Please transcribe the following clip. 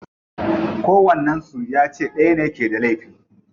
Kowannen su ya ce dayan ne ke da laifi.